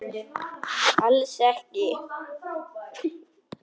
Alls ekki.